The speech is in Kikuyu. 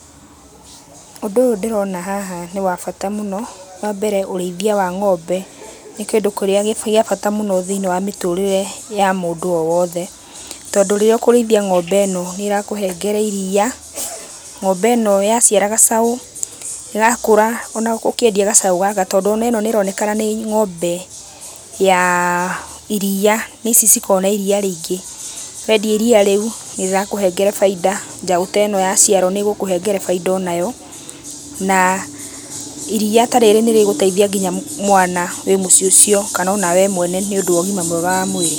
Ũndũ ũyũ ndĩrona haha nĩ wa bata mũno. Wambere ũrĩithia wa ngombe, nĩ kĩndũ kĩrĩa gĩa bata mũno thĩiniĩ wa mĩtũrĩre ya mũndũ o wothe. Tondũ rĩrĩa ũkũrĩithia ngombe ĩno nĩĩrakũhengere iria, ngombe ĩno yaciara gacaũ, gakũra ona ũkĩendia gacaũ gaka, tondũ ona ĩno nĩronekana nĩ ngombe ya iria, nĩ ici cikoragũo na iria rĩingĩ. Wendia iria rĩu, nĩrĩrakũhengere bainda , njaũ ta ĩno yaciarwo nĩgũkũhengere bainda onayo. Na iria ta rĩrĩ nĩrĩgũteithia nginya mwana wĩ mũciĩ ũcio kana ona wee mwene nĩũndũ wa ũgima mwega wa mwĩrĩ.